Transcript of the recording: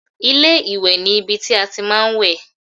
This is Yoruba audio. Ilé-ìwẹ̀ ni ibi tí a ti máa ń wẹ̀